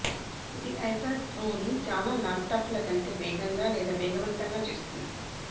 ఇది ఐప్యాడ్ ప్రోని చాలా ల్యాప్టాప్ల కంటే వేగంగా లేదా వేగవంతంగా చేస్తుంది